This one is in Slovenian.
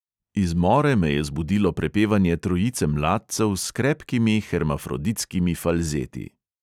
Iz more me je zbudilo prepevanje trojice mladcev s krepkimi hermafroditskimi falzeti.